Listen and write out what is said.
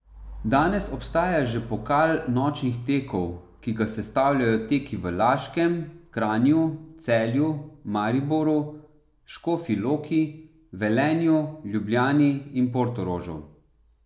Danes obstaja že pokal nočnih tekov, ki ga sestavljajo teki v Laškem, Kranju, Celju, Mariboru, Škofji Loki, Velenju, Ljubljani in Portorožu.